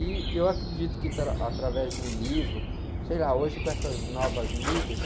E eu acredito que, através de um livro, sei lá, hoje com essas novas mídias,